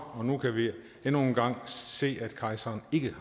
og nu kan vi endnu en gang se at kejseren ikke